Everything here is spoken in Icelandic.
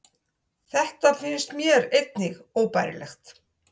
Þetta finnst mér einnig óbærilegt